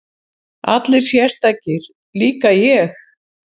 Allir sérstakir, líka ég?